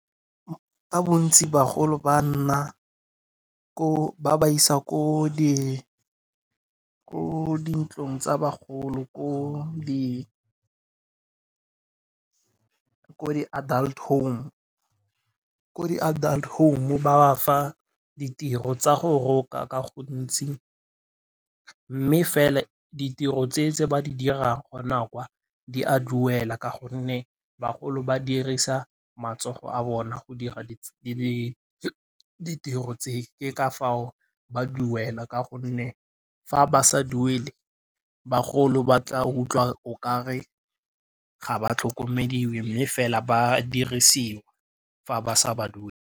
Ka bontsi bagolo ba ba isa ko dintlong tsa bagolo ko di adult home. Ko di adult home ba ba fa ditiro tsa go roka ka gontsi mme fela ditiro tse ba di dirang gona kwa di a duela ka gonne bagolo ba dirisa matsogo a bona go dira ditiro tse. Ke ka foo ba duela ka gonne fa ba sa duele bagolo ba tla utlwa o kare ga ba tlhokomediwe mme fela ba dirisiwa fa ba sa ba .